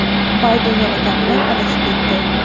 Bayden yana gapidan adashib ketdi.